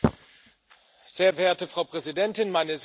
Frau Präsidentin, meine sehr geehrten Damen und Herren!